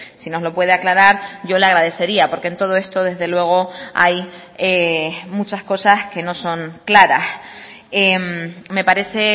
si nos lo puede aclarar yo le agradecería porque en todo esto desde luego hay muchas cosas que no son claras me parece